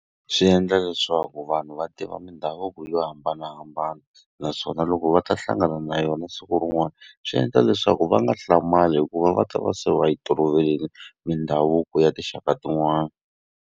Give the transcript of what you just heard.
Swi endla leswaku vanhu va tiva mindhavuko yo hambanahambana. Naswona loko va ta hlangana na yona siku rin'wana, swi endla leswaku va nga hlamali hikuva va ta va se va yi toloverile mindhavuko ya tinxaka tin'wana.